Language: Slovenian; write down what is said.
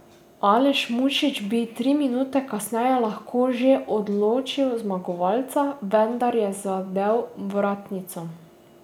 Aleš Mušič bi tri minute kasneje lahko že odločil zmagovalca, vendar je zadel vratnico.